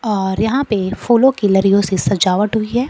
और यहां पे फूलों की लरियों से सजावट हुई है।